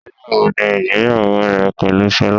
Nígbà wo ni ìgbéyàwó rẹ pẹ̀lú Sola?